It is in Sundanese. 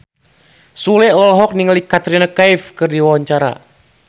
Sule olohok ningali Katrina Kaif keur diwawancara